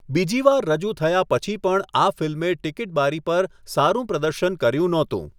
બીજી વાર રજૂ થયા પછી પણ આ ફિલ્મેં ટીકીટ બારી પર સારું પ્રદર્શન કર્યું નહોતું.